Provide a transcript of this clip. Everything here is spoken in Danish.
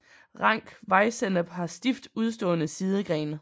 Rank vejsennep har stift udstående sidegrene